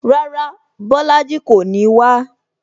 Rárá, Bolaji kò ní wá